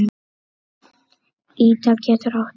Ida getur átt við